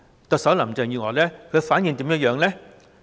特首林鄭月娥對此的反應為何呢？